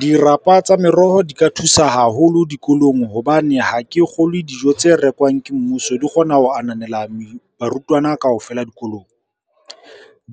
Dirapa tsa meroho di ka thusa haholo dikolong hobane ha ke kgolwe dijo tse rekwang ke mmuso di kgona ho ananela barutwana kaofela dikolong.